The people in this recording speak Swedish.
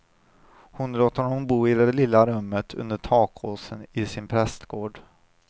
Han låter honom bo i det lilla rummet under takåsen i sin prästgård.